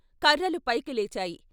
కర్రలు పైకి లేచాయి.